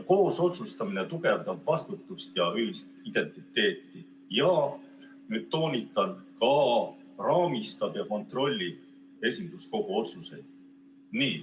Koos otsustamine tugevdab vastutust ja ühist identiteeti ja – nüüd toonitan – raamistab ja kontrollib esinduskogu otsuseid.